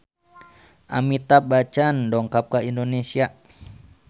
Amitabh Bachchan dongkap ka Indonesia